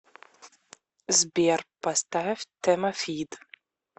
сбер поставь тэмафид